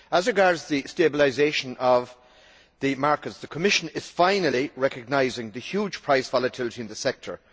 As regards the stabilisation of the markets, the Commission is finally recognising the huge price volatility in the sector.